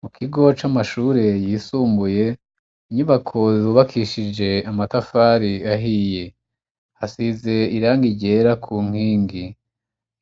Mu kigo c'amashure yisumbuye, inyubako zubakishije amatafari ahiye, hasize iranga irera ku nkingi,